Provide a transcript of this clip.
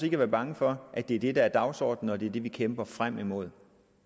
ikke være bange for at det er det der er dagsordenen og at det er det vi kæmper frem imod